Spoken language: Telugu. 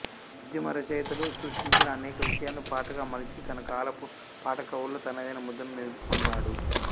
ఉద్యమ రచయితలు స్పృశించని అనేక విషయాలను పాటగా మలిచి తనకాలపు పాటకవుల్లో తనదైన ముద్రను నిలుపుకున్నోడు